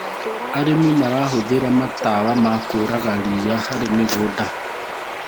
arĩmi marahũthira mandawa ma kũraga riia harĩ mĩgũnda